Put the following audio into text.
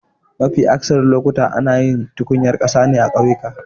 Mafi akatharin lokuta ana tukunyar ƙasa ne a kauyuka.